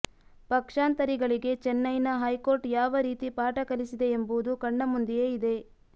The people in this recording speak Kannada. ಪಕ್ಷಾಂತರಿಗಳಿಗೆ ಚೆನ್ನೈನ ಹೈಕೋರ್ಟ್ ಯಾವ ರೀತಿ ಪಾಠ ಕಲಿಸಿದೆ ಎಂಬುದು ಕಣ್ಣ ಮುಂದೆಯೇ ಇದೆ